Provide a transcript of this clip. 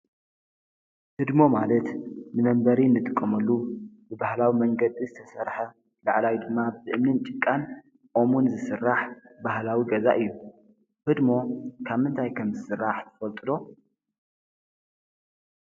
ሕድሞ ማለት ንመንበሪ ንትቆመሉ ብበህላዊ መንገዲ ዝተሠርሐ ላዕላዊ ድማ ብእምኒን ጭቃን ኦሙን ዝሥራሕ ባህላዊ ገዛ እዩ ህድሞ ካብ እንታይ ከም ዝሥራሕ ፈልጡሎ።